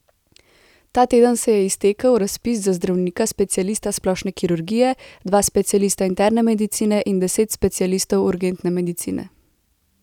Ta teden se je iztekel razpis za zdravnika specialista splošne kirurgije, dva specialista interne medicine in deset specialistov urgentne medicine.